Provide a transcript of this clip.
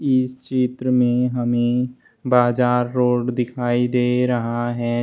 इस चित्र में हमें बाजार रोड दिखाई दे रहा है।